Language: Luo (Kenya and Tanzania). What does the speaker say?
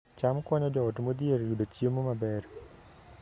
cham konyo joot modhier yudo chiemo maber